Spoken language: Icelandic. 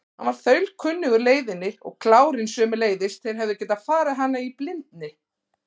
Hann var þaulkunnugur leiðinni og klárinn sömuleiðis, þeir hefðu getað farið hana í blindni.